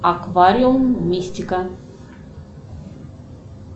аквариум мистика